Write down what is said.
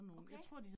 Okay